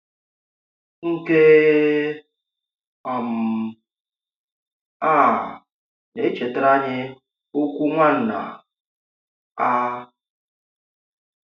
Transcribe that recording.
Nke um à nà-èchétàrà anyị ọ̀kwù Nwànnà A.